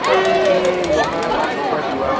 তুমি বহা বা কৰোবাত জুৱা